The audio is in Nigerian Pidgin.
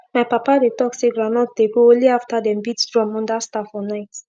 my papa dey talk say groundnut dey grow only after dem beat drum under star for night